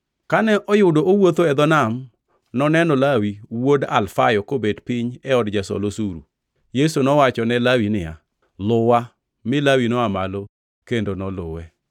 Kane oyudo owuotho e dho Nam, noneno Lawi wuod Alfayo kobet piny e od jasol osuru. Yesu nowachone Lawi niya, “Luwa,” mi Lawi noa malo kendo noluwe.